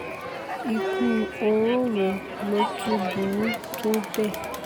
ikú oró wo ló tún burú tó bẹ́ẹ̀